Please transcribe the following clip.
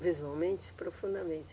Visualmente, profundamente.